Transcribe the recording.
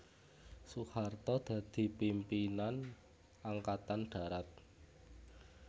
Soeharto dadi pimpinan Angkatan Darat